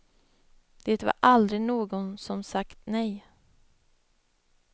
Det var aldrig någon som sagt nej.